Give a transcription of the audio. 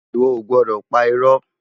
Iwò ó gbòdò pá irò